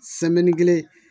kelen